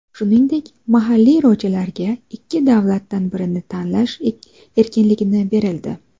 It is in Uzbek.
Shuningdek, mahalliy rojalarga ikki davlatdan birini tanlash erkinligi berildi.